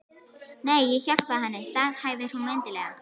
Nei, ég hjálpaði henni, staðhæfir hún mildilega.